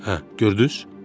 Hə, gördüz?